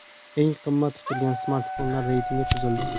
Eng qimmat tutilgan smartfonlar reytingi tuzildi.